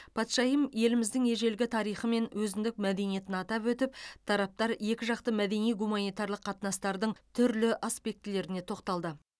патшайым еліміздің ежелгі тарихы мен өзіндік мәдениетін атап өтіп тараптар екіжақты мәдени гуманитарлық қатынастардың түрлі аспектілеріне тоқталды